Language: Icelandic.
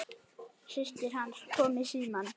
Systir hans kom í símann.